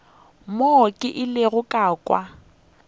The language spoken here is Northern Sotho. mo ke ilego ka kwa